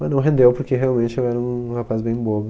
Mas não rendeu porque realmente eu era um rapaz bem bobo.